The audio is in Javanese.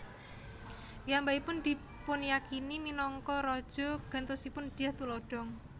Piyambakipun dipunyakini minangka raja gantosipun Dyah Tulodhong